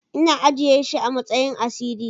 Ina ajiye shi amasayin asiri.